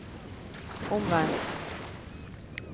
omvendt